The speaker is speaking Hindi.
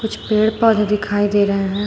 पेड़ पौधे दिखाई दे रहे हैं।